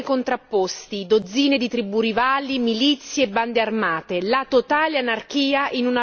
La totale anarchia in una lotta fratricida le cui sorti sono difficilmente prevedibili.